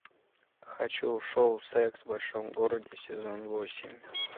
хочу шоу секс в большом городе сезон восемь